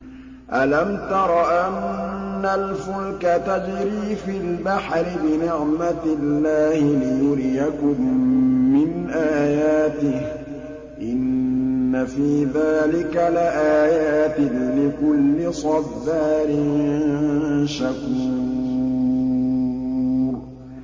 أَلَمْ تَرَ أَنَّ الْفُلْكَ تَجْرِي فِي الْبَحْرِ بِنِعْمَتِ اللَّهِ لِيُرِيَكُم مِّنْ آيَاتِهِ ۚ إِنَّ فِي ذَٰلِكَ لَآيَاتٍ لِّكُلِّ صَبَّارٍ شَكُورٍ